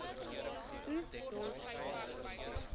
oes dors baal